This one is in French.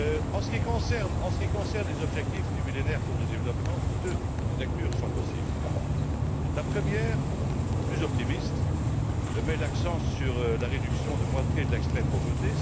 En ce qui concerne les objectifs du Millénaire pour le développement, deux lectures sont possibles. La première, plus optimiste, met l'accent sur la réduction de moitié de l'extrême pauvreté.